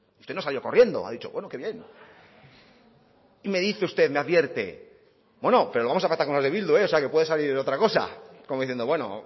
usted no ha salido corriendo ha dicho bueno que bien y me dice usted me advierte bueno pero lo vamos a pactar con los de bildu o sea que puede salir otra cosa como diciendo bueno